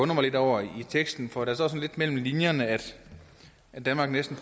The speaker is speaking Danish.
mig lidt over i teksten for der står sådan lidt mellem linjerne at at danmark næsten